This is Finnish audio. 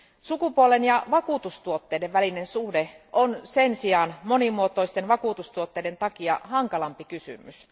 Sukupuolen ja vakuutustuotteiden välinen suhde on sen sijaan monimuotoisten vakuutustuotteiden takia hankalampi kysymys.